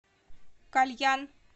кальян